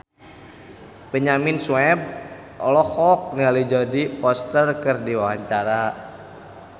Benyamin Sueb olohok ningali Jodie Foster keur diwawancara